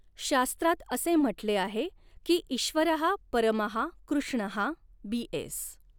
शास्त्रात असे म्हटले आहे कि ईश्वरहा परमहा कृष्णहा बीएस